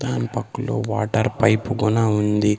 దాని పక్కలో water pipe గుణ ఉంది.